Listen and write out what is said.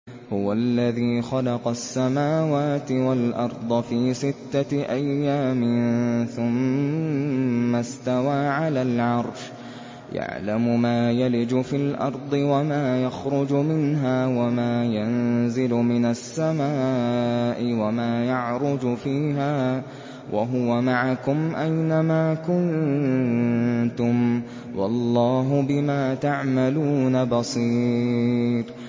هُوَ الَّذِي خَلَقَ السَّمَاوَاتِ وَالْأَرْضَ فِي سِتَّةِ أَيَّامٍ ثُمَّ اسْتَوَىٰ عَلَى الْعَرْشِ ۚ يَعْلَمُ مَا يَلِجُ فِي الْأَرْضِ وَمَا يَخْرُجُ مِنْهَا وَمَا يَنزِلُ مِنَ السَّمَاءِ وَمَا يَعْرُجُ فِيهَا ۖ وَهُوَ مَعَكُمْ أَيْنَ مَا كُنتُمْ ۚ وَاللَّهُ بِمَا تَعْمَلُونَ بَصِيرٌ